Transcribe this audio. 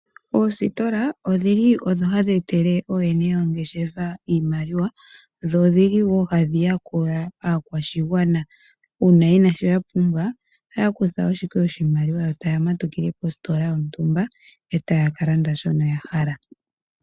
Oositola odili odho hadhi etele ooyene yoongeshefa iimaliwa dho odhili hadhi yakula aakwashigwana uuna yena sho ya pumbwa ohaya kutha ashike oshi maliwa yo etaya matukile positola yontumba etaya kalanda shono ya hala.